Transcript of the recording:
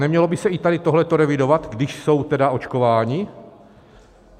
Nemělo by se i tady toto revidovat, když jsou tedy očkováni?